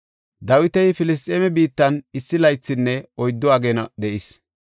Dawiti Filisxeeme biittan issi laythinne oyddu ageena de7is.